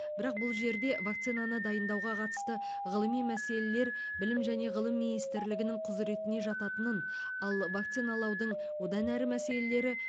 бірақ бұл жерде вакцинаны дайындауға қатысты ғылыми мәселелер білім және ғылым министрлігінің құзыретіне жататынын ал вакциналаудың одан әрі мәселелері